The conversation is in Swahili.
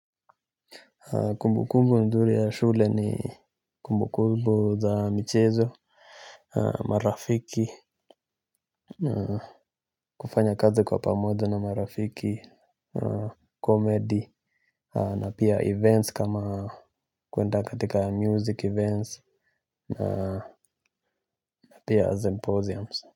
Kumbukumbu nzuri ya shule ni kumbukubu za michezo. Marafiki kufanya kazi kwa pamoja na marafiki Comedy na pia events kama kwenda katika music events na pia symposiums.